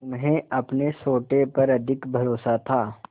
उन्हें अपने सोटे पर अधिक भरोसा था